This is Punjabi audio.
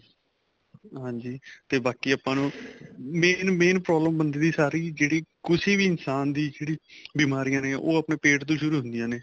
ਹਾਂਜੀ ਤੇ ਬਾਕੀ ਆਪਾਂ ਨੂੰ main main problem ਬੰਦੇ ਦੀ ਸਾਰੀ ਜਿਹੜੀ ਕੁੱਛ ਵੀ ਇਨਸ਼ਾਨ ਦੀ ਜਿਹੜੀਆਂ ਬਿਮਾਰੀਆਂ ਨੇ ਉਹ ਆਪਣੇ ਪੇਟ ਤੋ ਸ਼ੁਰੂ ਹੁੰਦੀਆਂ ਨੇ